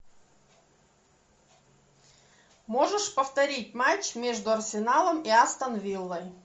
можешь повторить матч между арсеналом и астон виллой